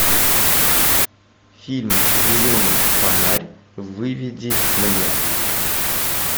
фильм зеленый фонарь выведи мне